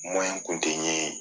kun tɛ n ɲe